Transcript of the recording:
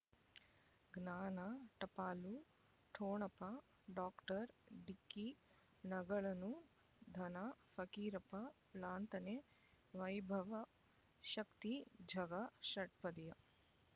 ಜ್ಞಾನ ಟಪಾಲು ಠೊಣಪ ಡಾಕ್ಟರ್ ಢಿಕ್ಕಿ ಣಗಳನು ಧನ ಫಕೀರಪ್ಪ ಳಂತನೆ ವೈಭವ್ ಶಕ್ತಿ ಝಗಾ ಷಟ್ಪದಿಯ